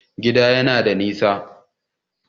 Gidan yana da nisa